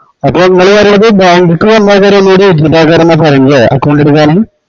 അപ്പോ ഇങ്ങള് പറയണത് bank ക്ക് വന്ന്കഴിഞ്ഞാല് account എടുക്കാന് പറയിന്നതല്ല account എടുക്കാന്